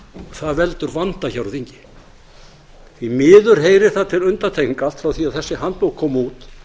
það veldur vanda hjá því miður heyrir það til undantekninga frá því að þessi handbók kom út